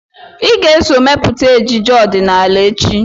Ị ga-eso mepụta ejije ọdịnala echi!